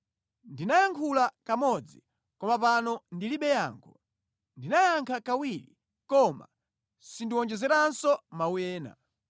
Ndinayankhula kamodzi, koma pano ndilibe yankho, ndinayankha kawiri, koma sindiwonjezeranso mawu ena.”